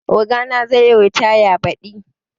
Ogana zai yi ritaya badi